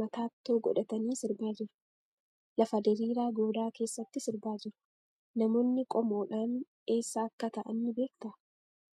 mataatto godhatanii sirbaa jiru. Lafa diriiraa goodaa keessatti sirbaa jiru. Namoonni qomoodhaan eessa akka ta'an ni beektaa?